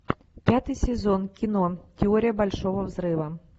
пятый сезон кино теория большого взрыва